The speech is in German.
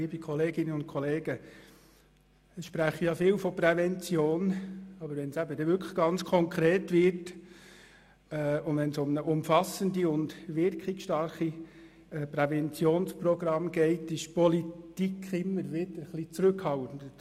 Viele sprechen von Prävention, aber wenn es konkret wird und es um ein umfassendes und wirkungsstarkes Präventionsprogramm geht, ist die Politik immer wieder ein bisschen zurückhaltend;